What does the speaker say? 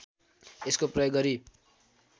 यसको प्रयोग गरी